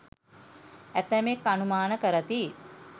ඇතැමෙක් අනුමාන කරති.